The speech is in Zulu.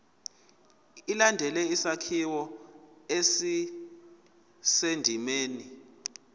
ilandele isakhiwo esisendimeni